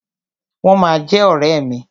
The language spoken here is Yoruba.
Wọ́n ma jẹ́ ọ̀rẹ́ mi.